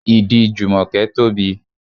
Ìdí Jumoke tóbi.